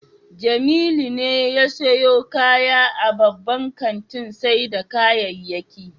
Jamilu ne ya sayo kaya a babban kantin sayar da kayayyaki